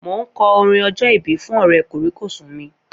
Mo ń kọ orin ọjọ́ ìbí fún Ọ̀rẹ́ kòríkòsùn mi